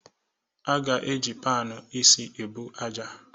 A ga-eji panụ isi ebu aja.